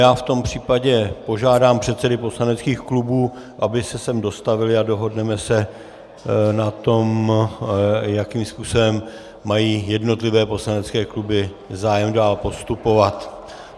Já v tom případě požádám předsedy poslaneckých klubů, aby se sem dostavili, a dohodneme se na tom, jakým způsobem mají jednotlivé poslanecké kluby zájem dál postupovat.